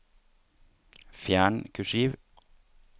Fjern kursiv